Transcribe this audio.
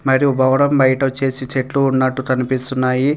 మరియు భవనం బయట వచ్చేసి చెట్లు ఉన్నట్టు కనిపిస్తున్నాయి.